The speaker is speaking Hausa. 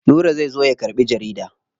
Nura zai zo ya karɓi jarida.